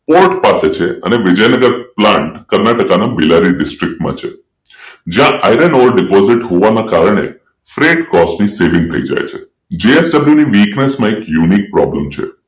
court પાસે છે અને વિજયનગર પ્લાન્ટ કર્ણાટકના બીલારી ડિસ્ટ્રિક્ટ માં છે જ્યાં Iron over deposit હોવાને કારણે Fred cost ની સેવિંગ થઈ જાય છે JSW weakness મા એક Unique problem છે